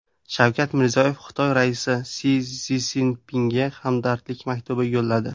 Shavkat Mirziyoyev Xitoy raisi Si Szinpinga hamdardlik maktubi yo‘lladi.